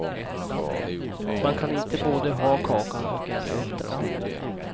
Man kan inte både ha kakan och äta upp den.